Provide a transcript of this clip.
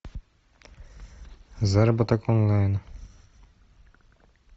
заработок онлайн